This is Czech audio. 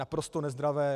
Naprosto nezdravé.